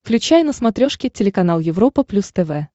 включай на смотрешке телеканал европа плюс тв